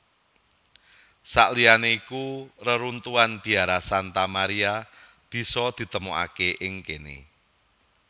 Saliyané iku reruntuhan biara Santa Maria bisa ditemokaké ing kéné